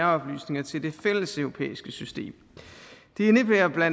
oplysninger til det fælleseuropæiske system det indebærer bla